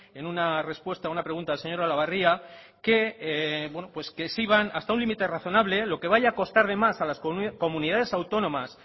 en una respuesta a una pregunta del señor olabarria que se iban hasta un límite razonable lo que vaya a costar de más a las comunidades autónomas